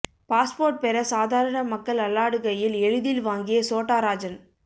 passport பெற சாதாரண மக்கள் அல்லாடுகையில் எளிதில் வாங்கிய சோட்டா ராஜன்